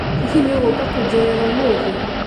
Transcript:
Hihi nĩũgũka kũnjerera ũmũthĩ?